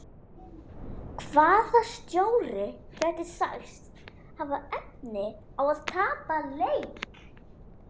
Hvaða stjóri gæti sagst hafa efni á að tapa leik?